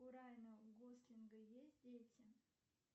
у райана гослинга есть дети